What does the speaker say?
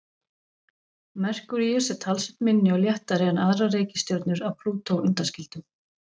Merkúríus er talsvert minni og léttari en aðrar reikistjörnur að Plútó undanskildum.